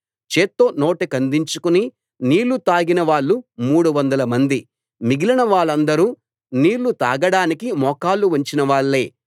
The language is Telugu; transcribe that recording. చేత్తో నోటికందించుకుని నీళ్ళు తాగినవాళ్ళు మూడు వందల మంది మిగిలిన వాళ్ళందరు నీళ్లు తాగడానికి మోకాళ్ళు వంచినవాళ్ళే